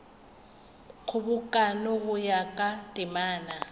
kgobokano go ya ka temana